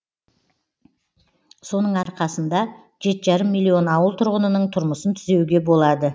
соның арқасында жеті жарым миллион ауыл тұрғынының тұрмысын түзеуге болады